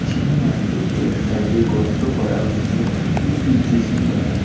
যে মাঠে এক সাইড এ গর্ত করা হচ্ছে একটি জে.সি.বি দ্বারা।